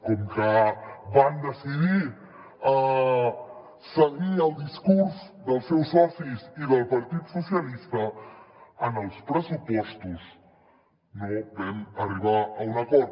com que van decidir seguir el discurs dels seus socis i del partit socialistes en els pressupostos no vam arribar a un acord